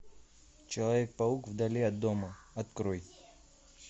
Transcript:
человек паук вдали от дома открой